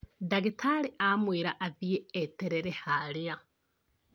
Ndagĩtarĩ amwĩra athie eterere harĩa